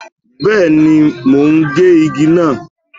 Bẹ́ẹ̀ni, mo ń gé igi náà.